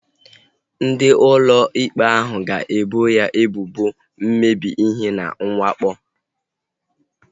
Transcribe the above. Ndị ụlọ ikpe ahu ga-ebo ya ebubo mmebi ihe na mwakpo